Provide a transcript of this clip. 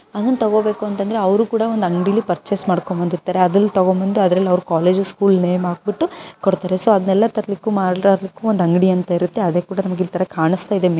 ಅವನ್ ತಗೋಬೇಕು ಅಂದ್ರೆ ಅವ್ರು ಕೂಡ ಒಂದು ಅಂಗಡಿಲಿ ಪರ್ಚೇಸ್ ಮಾಡ್ಕೊಂಡು ಬಂದಿರುತ್ತಾರೆ ಅವರು ಸ್ಕೂಲ್ದು ಸ್ಕೂಲ್ ಕಾಲೇಜ್ಗೆ ಸ್ಟಿಕರ್ ಹಾಕಿ ಕೊಡ್ತಾರೆ ಅದು ನನ್ನ ತಮ್ಮ ಬರೋಕೆ ಮಾಡ್ಲಿಕ್ಕೆ ಒಂದು ಅಂಗಡಿ ಅಂತ ಇರುತ್ತೆ ಅದೇ ಕೂಡ ನಮಗಿಲ್ಲಿ ಕಾಣಿಸ್ತಾ ಇದೆ.